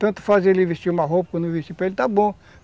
Tanto faz ele vestir uma roupa ou não vesti para ele, está bom.